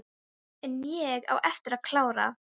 En ég á eftir að klára.